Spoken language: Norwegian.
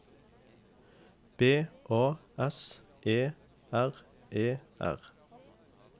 B A S E R E R